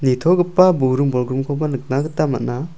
nitogipa buring bolgrimkoba nikna gita man·a.